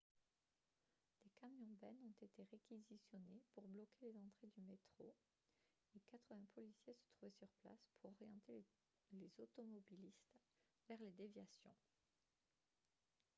des camions-bennes ont été réquisitionnés pour bloquer les entrées du métro et 80 policiers se trouvaient sur place pour orienter les automobilistes vers les déviations